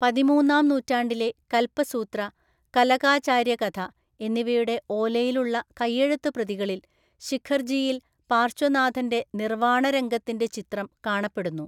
പതിമൂന്നാം നൂറ്റാണ്ടിലെ കൽപസൂത്ര, കലകാചാര്യകഥ എന്നിവയുടെ ഓലയിലുള്ള കയ്യെഴുത്തുപ്രതികളിൽ ശിഖർജിയിൽ പാർശ്വനാഥന്‍റെ നിർവാണരംഗത്തിന്‍റെ ചിത്രം കാണപ്പെടുന്നു.